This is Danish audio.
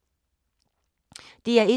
DR1